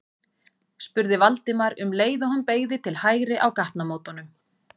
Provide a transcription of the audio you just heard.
spurði Valdimar um leið og hún beygði til hægri á gatnamótunum.